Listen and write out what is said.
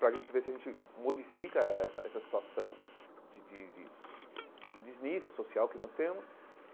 para a gente ver se a gente modifica essa essa situação de de de de desnível social que nós temos.